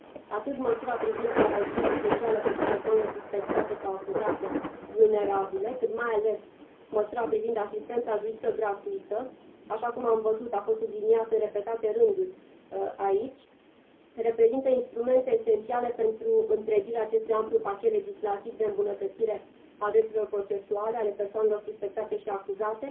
Atât măsura privind garanțiile speciale pentru persoanele suspectate sau acuzate vulnerabile, cât, mai ales, măsura privind asistența juridică gratuită care, așa cum am văzut, a fost subliniată în repetate rânduri aici reprezintă instrumente esențiale pentru întregirea acestui amplu pachet legislativ de îmbunătățire a drepturilor procesuale ale persoanelor suspectate și acuzate